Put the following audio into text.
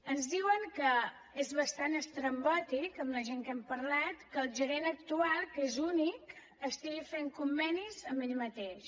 ens diuen que és bastant estrambòtic la gent amb qui hem parlat que el gerent actual que és únic estigui fent convenis amb ell mateix